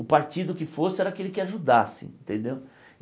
O partido que fosse era aquele que ajudasse, entendeu?